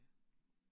Ja